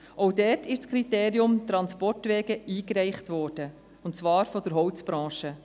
Auch dort ist das Kriterium der Transportwege eingebracht worden, und zwar vonseiten der Holzbranche.